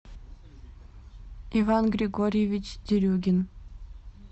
иван григорьевич дерюгин